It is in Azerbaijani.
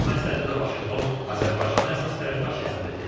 Bu məsələdə də Vaşinqton Azərbaycanı əsas tərəfdaş hesab edir.